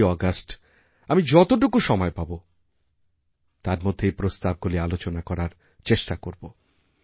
১৫ইআগস্ট আমি যতটুকু সময় পাবো তার মধ্যে এই প্রস্তাবগুলি আলোচনা করার চেষ্টা করবো